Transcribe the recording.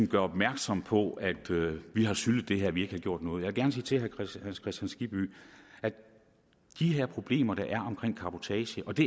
gøre opmærksom på at vi har syltet det her at vi ikke har gjort noget jeg vil gerne sige til herre hans kristian skibby at de her problemer der er omkring cabotage og det